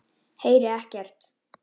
Heyri ekkert.